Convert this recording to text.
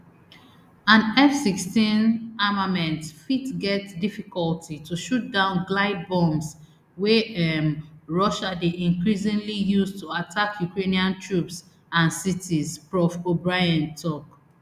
and fsixteen armaments fit get difficulty to shoot down glide bombs wey um russia dey increasingly use to attack ukrainian troops and cities prof obrien tok